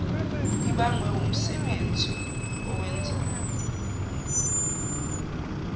ibangwe wumsebenzi awenzayo